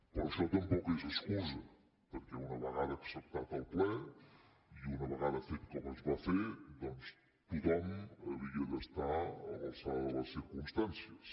però això tampoc és excusa perquè una vegada acceptat el ple i una vegada fet com es va fer doncs tothom havia d’estar a l’alçada de les circumstàncies